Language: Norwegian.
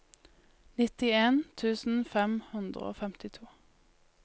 nittien tusen fem hundre og femtito